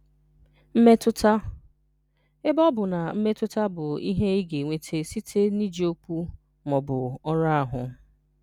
Mmetụta: Ebe ọ bụ na mmetụta bụ ihe ị ga-enweta site na iji okwu ma ọ bụ ọrụ ahụ.